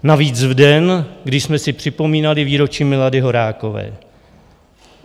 Navíc v den, kdy jsme si připomínali výročí Milady Horákové.